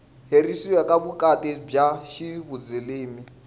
herisiwa ka vukati bya ximuzilimi